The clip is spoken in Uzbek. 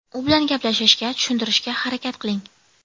U bilan gaplashishga, tushuntirishga harakat qiling.